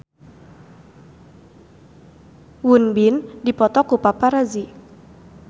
Won Bin dipoto ku paparazi